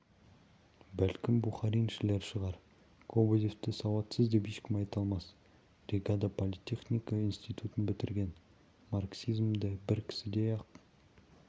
бәлкім бухариншілер шығар кобозевті сауатсыз деп ешкім айта алмас ригада политехника институтын бітірген марксизмді бір кісідей-ақ